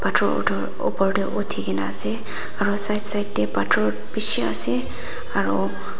chor tu upor de utikina ase aro side side de pathor bishi ase aro.